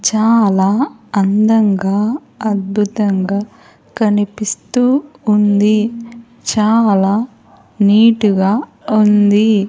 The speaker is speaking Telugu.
చాలా అందంగా అద్భుతంగా కనిపిస్తూ ఉంది చాలా నీటుగా ఉంది.